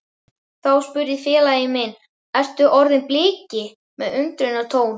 Þá spurði félagi minn Ert þú orðinn Bliki? með undrunartón.